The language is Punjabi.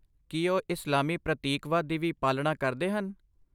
ਕੀ ਉਹ ਇਸਲਾਮੀ ਪ੍ਰਤੀਕਵਾਦ ਦੀ ਵੀ ਪਾਲਣਾ ਕਰਦੇ ਹਨ?